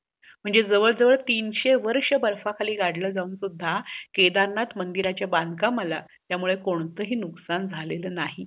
अं hello sir um मी तुमच्या website वरून एक hair hair straighter order केलं होतं, पण ते ना damage निघालंय, proper work करत नाहीये, तर असं का झालं?